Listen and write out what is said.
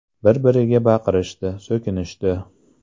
Bir-biriga baqirishdi, so‘kinishdi.